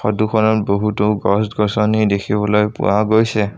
Photo খনত বহুতো গছ-গছনি দেখিবলৈ পোৱা গৈছে।